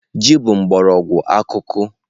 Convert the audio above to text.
Ji bụ mgbọrọgwụ akuku.